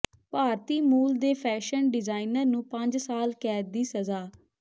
ਭਾਰਤੀ ਮੂਲ ਦੇ fashion designer ਨੂੰ ਪੰਜ ਸਾਲ ਕੈਦ ਦੀ ਸਜ਼ਾ